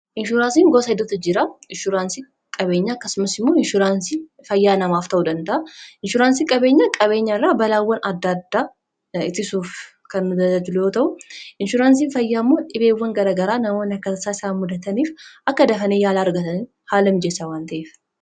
Inshuraansiin gosoota hedduu jira; inshuraansii qabeenyaa akkasumas inshuraansii fayyaa ta'uu danda'u. Inshuraansiin qabeenyaa, qabeenya irra balaawwan adda addaa ga'an ittisuuf kan tajaajiludha. Inshuraansiin fayyaa immoo, dhibeewwan garaagaraa namoota mudataniif akka dafanii yaala argatan haala kan mijeessu waan ta'eef.